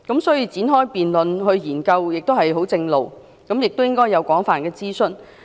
所以，展開辯論來研究十分正常，亦應該要進行廣泛諮詢。